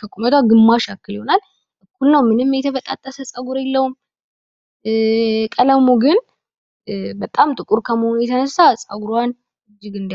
ከቁመቷ ግማሽ ያክል ይሆናል። እና ምንም የተበጣጠሰ ጸጉር የለውም። ቀለሙ ግን በጣም ጥቁር ከመሆኑ የተነሳ ጸጉሯን እጅግ